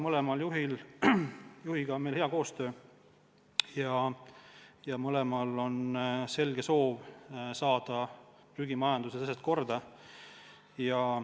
Mõlema juhiga on meil hea koostöö ja mõlemal on selge soov saada prügimajanduses asjad korda.